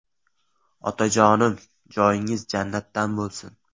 Otajonim, joyingiz jannatdan bo‘lsin.